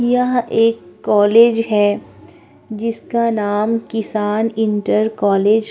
यह एक कॉलेज है जिसका नाम किसान इंटर कॉलेज --